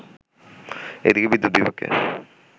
এদিকে বিদ্যুৎ বিভাগকে